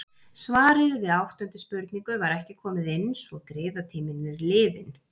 Svarið við áttundu spurningu var ekki komið inn svo griðatíminn er liðinn.